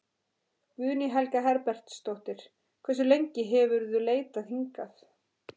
Guðný Helga Herbertsdóttir: Hversu lengi hefurðu leitað hingað?